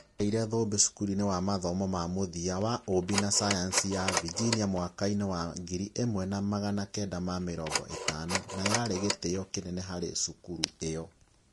Niagĩire thũmbĩ cukuruinĩ wa Mathomo ma mũthia ma ũũmbi na sayansi ya Virginia mwaka inĩ wa ngiri ĩmwe na magana kenda ma mĩrongo ĩtano na yarĩ gĩtĩo kĩnene harĩ cukuru ĩo